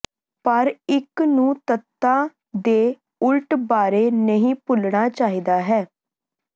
ਪਰ ਇੱਕ ਨੂੰ ਤੱਤਾਂ ਦੇ ਉਲਟ ਬਾਰੇ ਨਹੀਂ ਭੁੱਲਣਾ ਚਾਹੀਦਾ ਹੈ